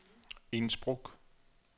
Innsbruck